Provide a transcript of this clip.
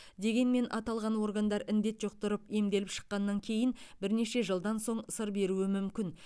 дегенмен аталған органдар індет жұқтырып емделіп шыққаннан кейін бірнеше жылдан соң сыр беруі мүмкін